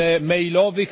mailowych.